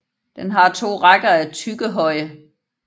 Den har to rækker af tyggehøje